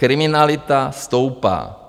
Kriminalita stoupá.